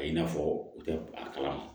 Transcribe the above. A i n'a fɔ u tɛ a kalama